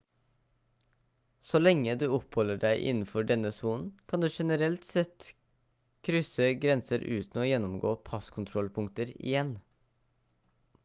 så lenge du oppholder deg innenfor denne sonen kan du generelt sett krysse grenser uten å gjennomgå passkontrollpunkter igjen